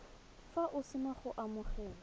fa o sena go amogela